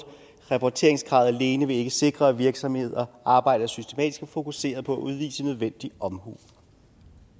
rapporteringskravet alene vil ikke sikre at virksomheder arbejder systematisk og fokuseret på at udvise nødvendig omhu